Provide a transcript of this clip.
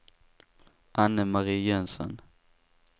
Anne-Marie Jönsson